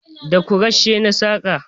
Da Kwarashe na saƙa